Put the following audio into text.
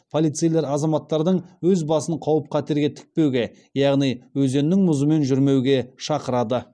полицейлер азаматтардың өз басын қауіп қатерге тікпеуге яғни өзеннің мұзымен жүрмеуге шақырады